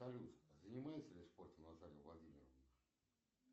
салют занимается ли спортом наталья владимировна